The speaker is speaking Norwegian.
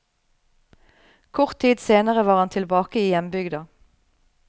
Kort tid senere var han tilbake i hjembygda.